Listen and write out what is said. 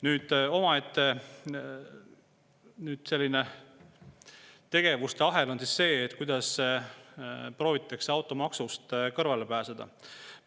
Nüüd, omaette selline tegevuste ahel on see, kuidas proovitakse automaksust kõrvale.